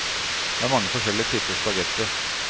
Det er mange forskjellige typer spaghetti.